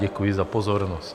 Děkuji za pozornost.